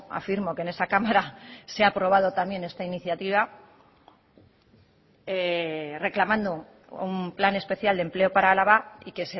afirmo que en esa cámara se ha aprobado también esta iniciativa reclamando un plan especial de empleo para álava y que